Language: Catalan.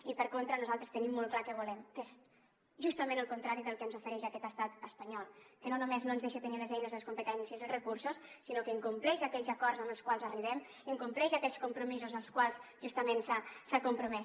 i per contra nosaltres tenim molt clar què volem que és justament el contrari del que ens ofereix aquest estat espanyol que no només no ens deixa tenir les eines les competències i els recursos sinó que incompleix aquells acords als quals arribem incompleix aquells compromisos amb els quals justament s’ha compromès